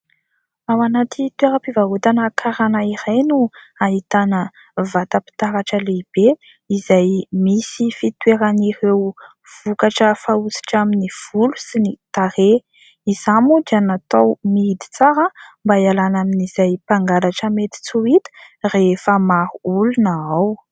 Ao anaty toeram-pivarotana karana iray no ahitana vatam-pitaratra lehibe izay misy fitoeran'ireo vokatra fanosotra amin'ny volo sy ny tarehy. Izany moa dia natao mihidy tsara mba ialana amin'izay mpangalatra mety tsy ho hita rehefa maro olon ao.